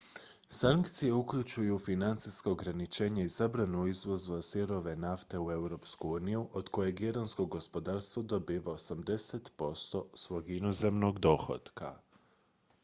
sankcije uključuju financijska ograničenja i zabranu izvoza sirove nafte u europsku uniju od kojeg iransko gospodarstvo dobiva 80 % svog inozemnog dohotka